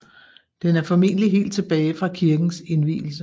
Den er formentlig helt tilbage fra kirkens indvielse